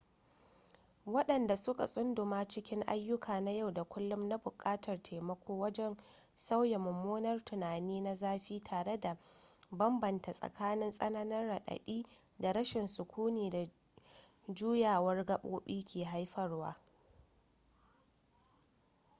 wadanda suka sunduma cikin ayuka na yau da kullum na bukatar taimako wajen sauya mummunar tunani na zafi tare da bambanta tsakanin tsananin radadi da rashin sukuni da juyawar gabobi ke haifarwa